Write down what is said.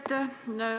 Aitäh!